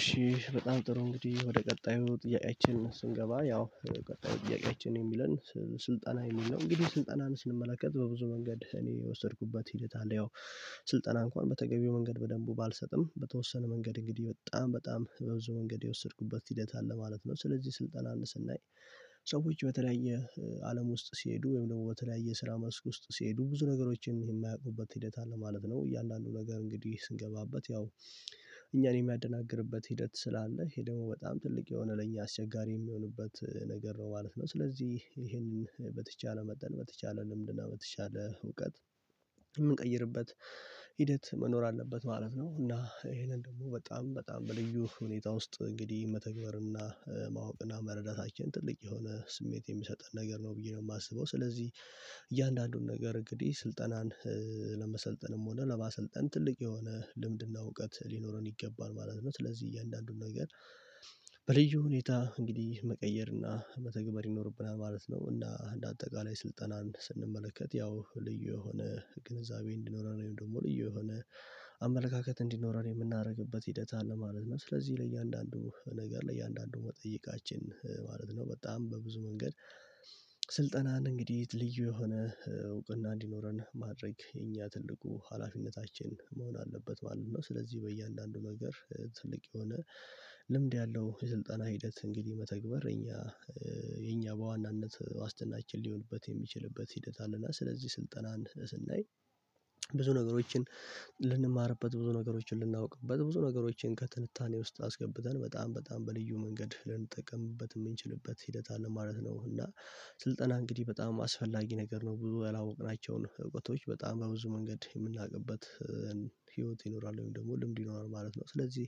እሺ በጣም ጥሩ እንግዲህ ወደ ቀጣዩ ጥያቄችን ስንገባ ያው ቀጣዩ ጥያቄችን የሚለን ስልጠና የም ነው። እንግዲህ ስልጠናን ስንመለከት በብዙ መንገድ እኔ የወሰድኩበት ሂደት አለ። ያው ስልጠና እንኳን በተገቢው መንገድ በደንቡ ባልሰጥም በተወሰነ መንገድ እንግዲህ በጣም በጣም በብዙ መንገድ የወሰድኩበት ሂደት አለ ማለት ነው። ስለዚህ ስልጠናን ስናይ ሰዎች በተለያየ አለም ውስጥ ሲሄዱ ወይም ደግሞ በተለያየ ስራ መስክ ውስጥ ሲሄዱ ብዙ ነገሮችን የማያቁበት ሂደት አለ ማለት ነው። እያንዳንዱ ነገር እንግዲህ ስንገባበት ያው እኛን የሚያደናግርበት ሂደት ስላለ ይሄ ደግሞ በጣም ትልቅ የሆነ ለኛ አስቸጋሪ የሚሆንበት ነገር ነው ማለት ነው። ስለዚህ ይሄንን በተቻለ መጠን በተቻለ ልምድና በተቻለ እውቀት የምንቀይርበት ሂደት መኖር አለበት ማለት ነው። እና ይሄንን ደግሞ በጣም በጣም በልዩ ሁኔታ ውስጥ እንግዲህ መተግበርና ማወቅና መረዳታችን ትልቅ የሆነ ስሜት የሚሰጠን ነገር ነው ብዬ ነው የማስበው። ስለዚህ እያንዳንዱን ነገር እንግዲህ ስልጠናን ለመሰልጠንም ሆነ ለማሰልጠን ትልቅ የሆነ ልምድና እውቀት ሊኖረን ይገባል ማለት ነው። ስለዚህ እያንዳንዱን ነገር በልዩ ሁኔታ እንግዲህ መቀየርና መተግበር ይኖርብናል ማለት ነው። እና እንደ አጠቃላይ ስልጠናን ስንመለከት ያው ልዩ የሆነ ግንዛቤ እንዲኖረን ወይም ደግሞ ልዩ የሆነ አመለካከት እንዲኖረን የምናደርግበት ሂደት አለ ማለት ነው። ስለዚህ ለእያንዳንዱ ነገር ለእያንዳንዱ መጠይቃችን ማለት ነው በጣም በብዙ መንገድ ስልጠናን እንግዲህ ልዩ የሆነ እውቅና እንዲኖረን ማድረግ የኛ ትልቁ ሀላፊነታችን መሆን አለበት ማለት ነው። ስለዚህ በእያንዳንዱ ነገር ትልቅ የሆነ ልምድ ያለው የስልጠና ሂደት እንግዲህ መተግበር እኛ የኛ በዋናነት ዋስትናችን ሊሆንበት የሚችልበት ሂደት አለና ስለዚህ ስልጠናን ስናይ ብዙ ነገሮችን ልንማርበት ብዙ ነገሮችን ልናውቅበት ብዙ ነገሮችን ከትንታኔ ውስጥ አስገብተን በጣም በጣም በልዩ መንገድ ልንጠቀምበት የምንችልበት ሂደት አለ ማለት ነው። እና ስልጠና እንግዲህ በጣም አስፈላጊ ነገር ነው ብዙ ያላወቅናቸውን እውቀቶች በጣም በብዙ መንገድ የምናውቅበትን ህይወት ይኖራል ወይም ደግሞ ልምድ ይኖራል ማለት ነው። ስለዚህ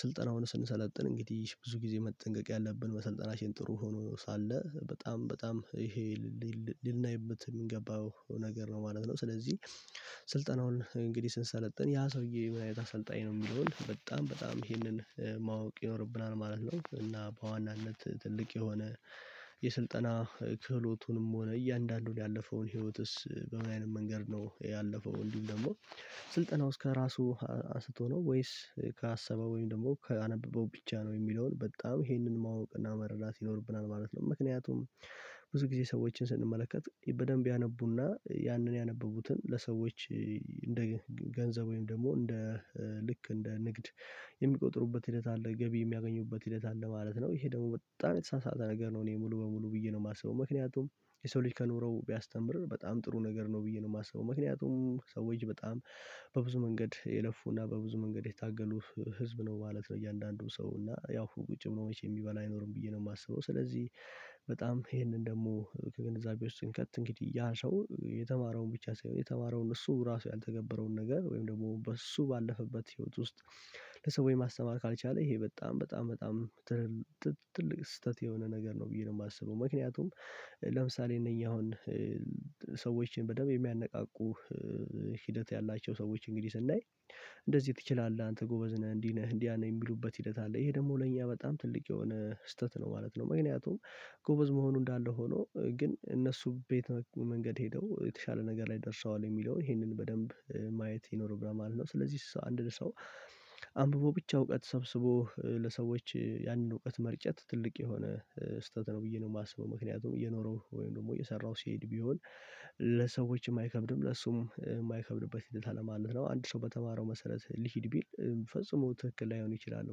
ስልጠናውን ስንሰለጥን እንግዲህ ብዙ ጊዜ መጠንቀቅ ያለብን መሰልጠናችን ጥሩ ሆኖ ሳለ በጣም በጣም ይሄ ልናይበት የሚገባው ነገር ነው ማለት ነው። ስለዚህ ስልጠናውን እንግዲህ ስንሰለጥን ያ ሰውዬ ምን አይነት አሰልጣኝ ነው የሚለውን በጣም በጣም ይሄንን ማወቅ ይኖርብናል ማለት ነው። እና በዋናነት ትልቅ የሆነ የስልጠና ክህሎቱንም ሆነ እያንዳንዱን ያለፈውን ህይወትስ በምን አይነት መንገድ ነው ያለፈው እንዲሁም ደግሞ ስልጠናውስ ከራሱ አስቶ ነው ወይስ ከአሰበው ወይም ደግሞ ከአነበበው ብቻ ነው የሚለውን በጣም ይሄንን ማወቅና መረዳት ይኖርብናል ማለት ነው። ምክንያቱም ብዙ ጊዜ ሰዎችን ስንመለከት በደንብ ያነቡና ያንን ያነቡትን ለሰዎች እንደ ገንዘብ ወይም ደግሞ እንደ ልክ እንደ ንግድ የሚቆጥሩበት ሂደት አለ ገቢ የሚያገኙበት ሂደት አለ ማለት ነው። ይሄ ደግሞ በጣም የተሳሳተ ነገር ነው። እኔ ሙሉ በሙሉ ብዬ ነው የማስበው ምክንያቱም የሰው ልጅ ከኖረው ቢያስተምር በጣም ጥሩ ነገር ነው ብዬ ነው የማስበው ምክንያቱም ሰዎች በጣም በብዙ መንገድ የለፉና በብዙ መንገድ የታገሉ ህዝብ ነው ማለት ነው እያንዳንዱ ሰው እና ያው ቁጭ ብሎ መቼ የሚበላ አይኖርም ብዬ ነው የማስበው። ስለዚህ በጣም ይህንን ደግሞ ከግንዛቤ ውስጥ ስንከት እንግዲህ ያ ሰው የተማረውን ብቻ ሳይሆን የተማረውን እሱ ራሱ ያልተገበረውን ነገር ወይም ደግሞ በሱ ባለፈበት ህይወት ውስጥ ለሰዎች ማስተማር ካልቻለ ይሄ በጣም በጣም በጣም ትልቅ ስህተት የሆነ ነገር ነው ብዬ ነው የማስበው። ምክንያቱም ለምሳሌ እነኚህ አሁን ሰዎችን በደንብ የሚያነቃቁ ሂደት ያላቸው ሰዎች እንግዲህ ስናይ እንደዚህ ትችላለህ አንተ ጎበዝ ነህ እንዲህ ነህ እንዲያ ነህ የሚሉበት ሂደት አለ ይሄ ደግሞ ለእኛ በጣም ትልቅ የሆነ ስህተት ነው ማለት ነው። ምክንያቱም ጎበዝ መሆኑ እንዳለ ሆኖ ግን እነሱ ቤት መንገድ ሄደው የተሻለ ነገር ላይ ደርሰዋል የሚለውን ይሄንን በደንብ ማየት ይኖርብሃል ማለት ነው። ስለዚህ አንድ ሰው አንብቦ ብቻ እውቀት ሰብስቦ ለሰዎች ያንን እውቀት መርጨት ትልቅ የሆነ ስህተት ነው ብዬ ነው የማስበው። ምክንያቱም እየኖረው ወይም ደግሞ እየሰራሁ ሲሄድ ቢሆን ለሰዎችም አይከብድም ለሱም የማይከብድበት ሂደት አለማለት ነው አንድ ሰው በተማረው መሰረት ልሂድ ቢል ፈጽሞ ትክክል ላይሆን ይችላል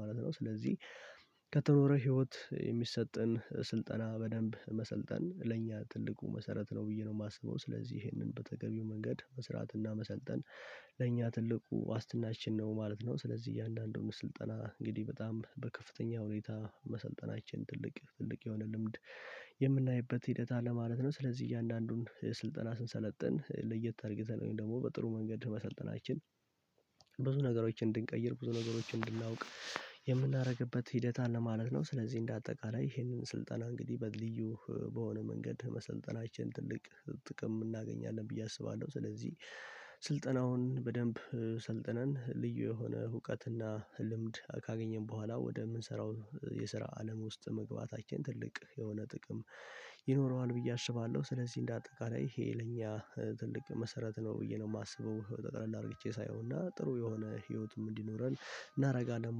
ማለት ነው። ስለዚህ ከተኖረ ህይወት የሚሰጠን ስልጠና በደንብ መሰልጠን ለእኛ ትልቁ መሰረት ነው ብዬ ነው የማስበው። ስለዚህ ይህንን በተገቢው መንገድ መስራትና መሰልጠን ለእኛ ትልቁ ዋስትናችን ነው ማለት ነው። ስለዚህ እያንዳንዱን ስልጠና እንግዲህ በጣም በከፍተኛ ሁኔታ መሰልጠናችን ትልቅ ትልቅ የሆነ ልምድ የምናይበት ሂደት አለ ማለት ነው። ስለዚህ እያንዳንዱን ስልጠና ስንሰለጥን ለየት አርግተን ደግሞ በጥሩ መንገድ መሰልጠናችን ብዙ ነገሮችን እንድንቀይር ብዙ ነገሮችን እንድናውቅ የምናደርግበት ሂደት አለ ማለት ነው። ስለዚህ እንደ አጠቃላይ ይሄንን ስልጠና እንግዲህ በልዩ በሆነ መንገድ መሰልጠናችን ትልቅ ጥቅም እናገኛለን ብዬ አስባለሁ። ስለዚህ ስልጠናውን በደንብ ሰልጥነን ልዩ የሆነ አዉቀትና ልምድ ካገኘን በኋላ ወደምንሰራው የስራ አለም ውስጥ መግባታችን ትልቅ የሆነ ጥቅም ይኖረዋል ብዬ አስባለሁ። ስለዚህ እንደ አጠቃላይ ይሄ ለኛ ትልቅ መሰረት ነው ብዬ ነው የማስበው። ጠቅለል አድርጌቼ ሳየዉና ጥሩ የሆነ ህይወትም እንዲኖረን እናደርጋለን